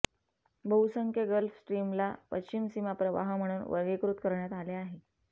बहुसंख्य गल्फ स्ट्रीमला पश्चिम सीमा प्रवाह म्हणून वर्गीकृत करण्यात आले आहे